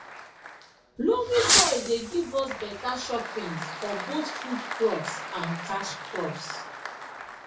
loamy soil dey give us beta choppins for both food crops and cash crops